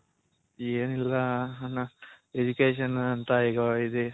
ಏನಿಲ್ಲ ಅಣ್ಣ Education ಅಂತ .